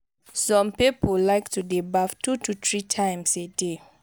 some pipo like to de baff two to three times a day